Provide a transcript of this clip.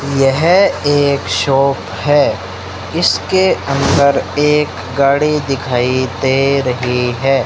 यह एक शॉप है इसके अंदर एक गाड़ी दिखाई दे रही है।